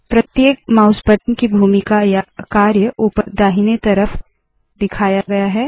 प्रत्येक mouse button की भूमिका या कार्य ऊपर दाहिने तरफ दिखाया गया है